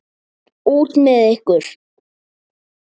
Út með ykkur!